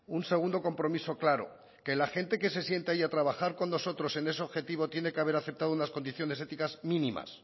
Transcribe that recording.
un segundo compromiso claro que la gente que se sienta ahí a trabajar con nosotros en ese objetivo tiene que haber aceptado unas condiciones éticas mínimas